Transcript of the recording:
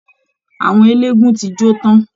Àwọn eléégún ti jó tán